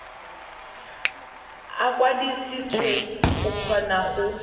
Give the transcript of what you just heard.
a kwadisitswe go kgona go